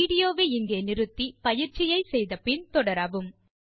video வை இங்கே நிறுத்தி பயிற்சியை செய்து முடித்து பின் தொடரவும்